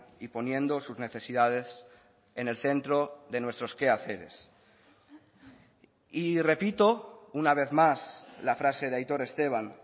y poniendo sus necesidades en el centro de nuestros quehaceres y repito una vez más la frase de aitor esteban